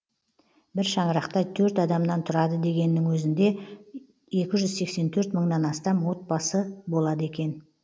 бір шаңырақта төрт адамнан тұрады дегеннің өзінде екі жүз сексен төрт мыңнан астам отбасы болады екен